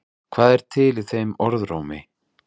Hvað er til í þeim orðrómi?